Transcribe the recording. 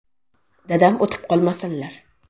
Dadam o‘tib qolmasinlar.